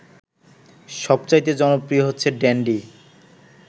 সবচাইতে জনপ্রিয় হচ্ছে ড্যান্ডি